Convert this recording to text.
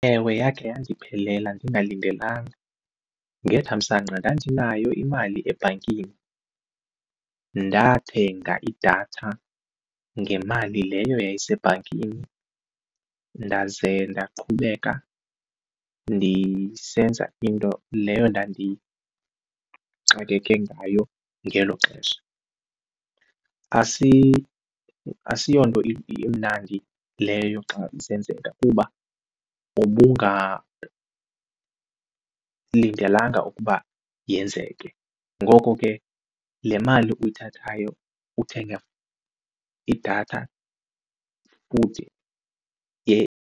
Ewe, yakhe yandiphelela ndingalindelanga. Ngethamsanqa ndandinayo imali ebhankini, ndathenga idatha ngemali leyo yayisebhankini ndaze ndaqhubeka ndisenza into leyo ndandixakeke ngayo ngelo xesha. Asiyonto imnandi leyo xa isenzeka kuba ubungalindelanga ukuba yenzeke. Ngoko ke le mali uyithathayo uthenga idatha futhi .